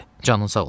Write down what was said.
Canın sağ olsun,